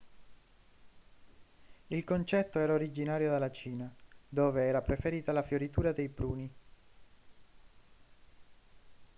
il concetto era originario della cina dove era preferita la fioritura dei pruni